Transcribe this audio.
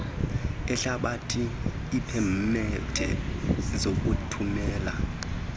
ehlabathi iipemethe zokuthumela